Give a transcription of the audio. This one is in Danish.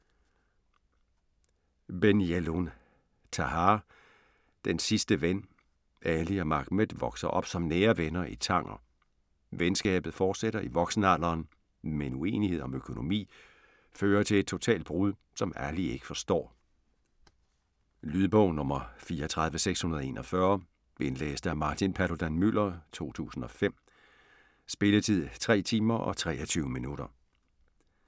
Ben Jelloun, Tahar: Den sidste ven Ali og Mahmed vokser op som nære venner i Tanger. Venskabet fortsætter i voksenalderen, men uenighed om økonomi fører til et totalt brud, som Ali ikke forstår. Lydbog 34641 Indlæst af Martin Paludan-Müller, 2005. Spilletid: 3 timer, 23 minutter.